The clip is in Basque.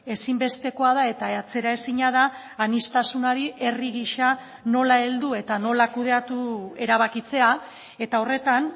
ezinbestekoa da eta atzeraezina da aniztasunari herri gisa nola heldu eta nola kudeatu erabakitzea eta horretan